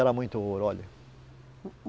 muito ouro, olha.